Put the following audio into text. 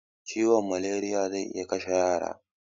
Ciwon malariya zai iya kashe yara